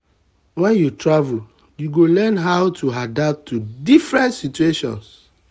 wen you travel you um go learn how to adapt to different situations. um